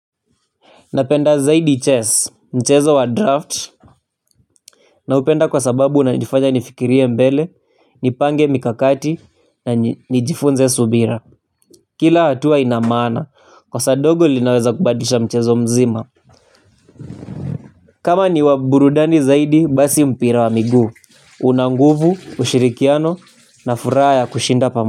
Napenda zaidi chess mchezo wa draft na upenda kwa sababu unanifanya nifikirie mbele nipange mikakati na nijifunze subira kila hatua ina maana kosa ndogo linaweza kubadisha mchezo mzima kama ni wa burudani zaidi basi mpira wa miguu una nguvu ushirikiano na furaha ya kushinda pamoja.